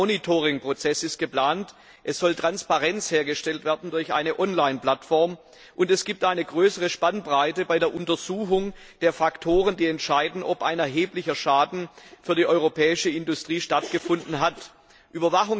Ein Monitoringprozess ist geplant, es soll Transparenz hergestellt werden durch eine Online Plattform, und es gibt eine größere Spannbreite bei der Untersuchung der Faktoren, die entscheiden, ob ein erheblicher Schaden für die europäische Industrie eingetreten ist.